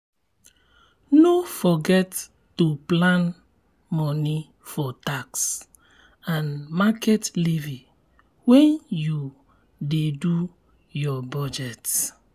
no forget to plan money for tax and market levy when you dey do your budget.